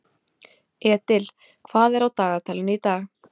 Edil, hvað er á dagatalinu í dag?